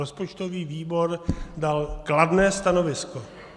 Rozpočtový výbor dal kladné stanovisko.